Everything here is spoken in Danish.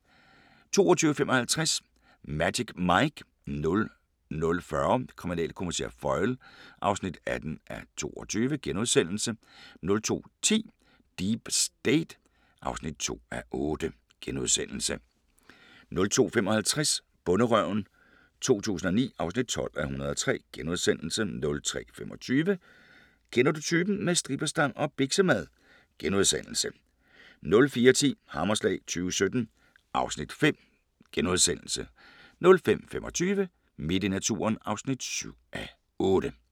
22:55: Magic Mike 00:40: Kriminalkommissær Foyle (18:22)* 02:10: Deep State (2:8)* 02:55: Bonderøven 2009 (12:103)* 03:25: Kender du typen? – med stripperstang og biksemad * 04:10: Hammerslag 2017 (Afs. 5)* 05:25: Midt i naturen (7:8)